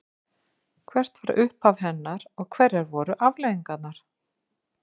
Hvert var upphaf hennar og hverjar voru afleiðingarnar?